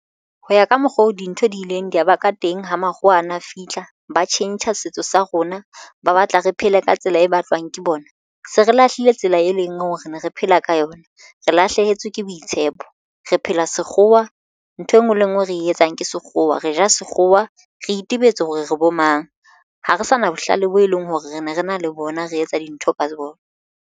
Ho ya ka mokgwa o dintho di ileng di ya ba ka teng ho makgowa ana a fihla ba tjhentjha setso sa rona ba batla re phele ka tsela e batlwang ke bona. Se re lahlile tsela e leng hore re ne re phela ka yona. Re lahlehetswe ke boitshepo. Re phela sekgowa ntho enngwe le enngwe re etsang ke sekgowa re ja sekgowa re itebetse hore re bo mang ha re sa na bohlale boo e leng hore re ne re na le bona re etsa dintho ka seboko.